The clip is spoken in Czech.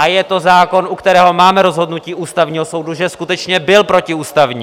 A je to zákon, u kterého máme rozhodnutí Ústavního soudu, že skutečně byl protiústavní!